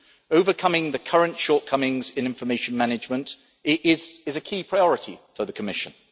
Overcoming the current shortcomings in information management is a key priority for the Commission.